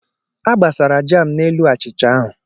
A gbasara jaam n'elu achịcha ahụ.